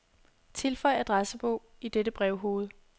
Tilføj adressebog i dette brevhoved.